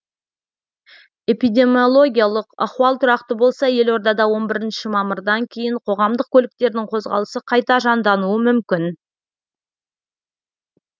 эпидемиологиялық ахуал тұрақты болса елорадада он бірінші мамырдан кейін қоғамдық көліктердің қозғалысы қайта жандануы мүмкін